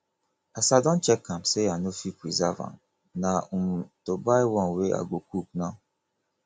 as i don check am say i no fit preserve am na um to buy one wey i go cook now